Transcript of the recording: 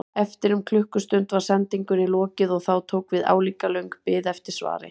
Eftir um klukkustund var sendingunni lokið og þá tók við álíka löng bið eftir svari.